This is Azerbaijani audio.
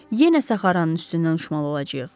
Yenə Saharanın üstündən uçmalı olacağıq.